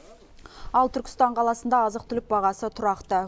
ал түркістан қаласында азық түлік бағасы тұрақты